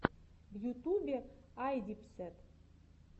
в ютубе айдипсэд